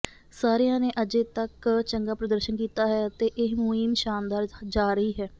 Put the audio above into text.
ਸਾਰਿਆਂ ਨੇ ਅਜੇ ਤਕ ਚੰਗਾ ਪ੍ਰਦਰਸ਼ਨ ਕੀਤਾ ਹੈ ਅਤੇ ਇਹ ਮੁਹਿੰਮ ਸ਼ਾਨਦਾਰ ਜਾ ਰਹੀ ਹੈ